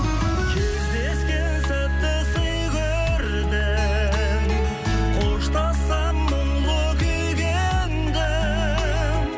кездескен сәтті сый көрдім қоштассам мұнлы күйге ендім